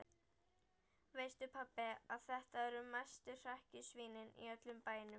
Veistu pabbi að þetta eru mestu hrekkjusvínin í öllum bænum.